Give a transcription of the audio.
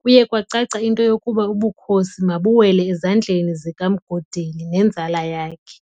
kuye kwacaca into yokuba ubukhosi mabuwele ezandleni zikaMgodeli nenzala yakhe.